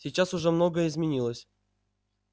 сейчас уже многое изменилось